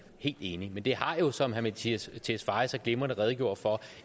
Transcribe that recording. helt enige men det har jo som herre mattias tesfaye så glimrende redegjorde for